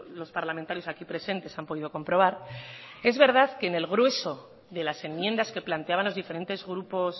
los parlamentarios aquí presentes han podido comprobar es verdad que en el grueso de las enmiendas que planteaban los diferentes grupos